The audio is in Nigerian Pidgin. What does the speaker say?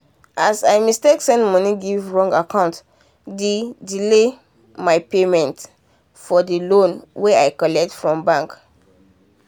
as i mistake send money give wrong acct d delay my payment for the loan when i collect from bank.